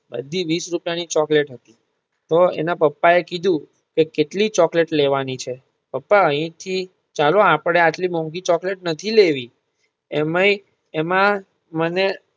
બધી વીસ રૂપિયા ની ચોકલેટ હતી. તો એના પપ્પા એ કે કીધું કેટલી ચોકલેટ લેવાની છે પપ્પા અહિયાં થી ચાલો આપડે આટલી મોંઘી ચોકલેટ નથી લેવી એમાંય એમાં મને